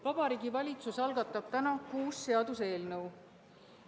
Vabariigi Valitsus algatab täna kuus seaduseelnõu.